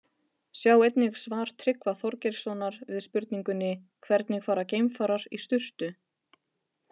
Sjá einnig svar Tryggva Þorgeirssonar við spurningunni Hvernig fara geimfarar í sturtu?